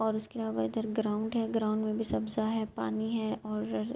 اور اسکے علاوہ ادھر گراؤنڈ ہے۔ گراؤنڈ مے بھی سبجا ہے۔ پانی ہے اور--